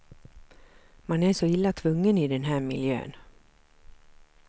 Man är så illa tvungen i den här miljön.